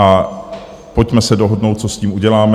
A pojďme se dohodnout, co s tím uděláme.